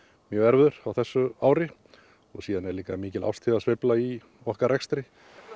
mjög erfiður á þessu ári og síðan er líka mikil árstíðasveifla í okkar rekstri